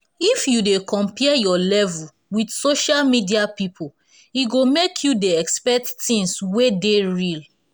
if you dey compare your level with social media people e go make you dey expect tins wey dey real